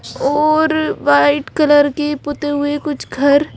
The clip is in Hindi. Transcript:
और वाइट कलर की पोते हुए कुछ घर--